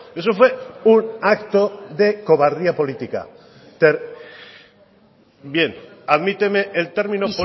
eso fue un acto de cobardía política bien admíteme el término